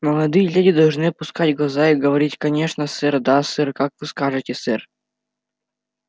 молодые леди должны опускать глаза и говорить конечно сэр да сэр как вы скажете сэр